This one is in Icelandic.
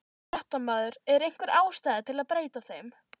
Fréttamaður: Er einhver ástæða til að breyta þeim?